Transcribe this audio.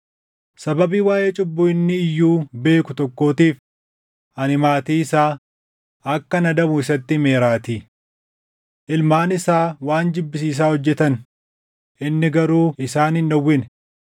Sababii waaʼee cubbuu inni iyyuu beeku tokkootiif ani maatii isaa akkan adabu isatti himeeraatii. Ilmaan isaa waan jibbisiisaa hojjetan; inni garuu isaan hin dhowwine.